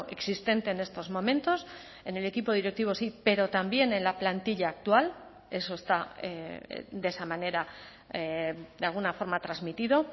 existente en estos momentos en el equipo directivo sí pero también en la plantilla actual eso está de esa manera de alguna forma transmitido